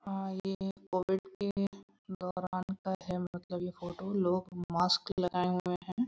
हाँ ये कोविड के दौरान का है मतलब यह फोटो लोग मास्क लगाए हुए है।